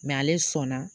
ale sɔnna